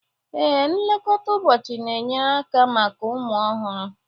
Ee, nlekọta ụbọchị na-enyere aka maka ụmụ ọhụrụ